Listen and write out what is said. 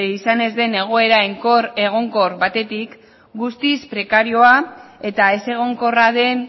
izan ez den egoera egonkor batetik guztiz prekarioa eta ez egonkorra den